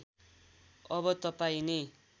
अब तपाईँं नै